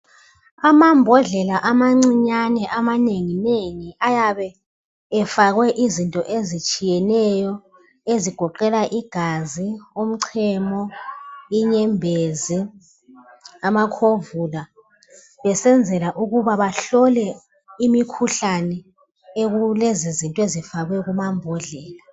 Amambodlela amancinyane amanengi nengi ayabe efakwe izinto ezitshiyeneyo ezigoqela igazi umchemo inyembezi amakhovula besenzela ukuba bahlole imikhuhlane ekulezi zinto ezifakwe kumambodlela.